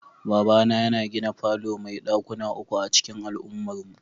Babana yana gina falo mai dakuna uku a'cikin al'ummarmu.